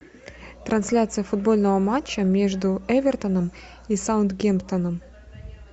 трансляция футбольного матча между эвертоном и саутгемптоном